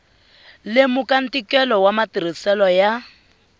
lemuka ntikelo wa matirhiselo ya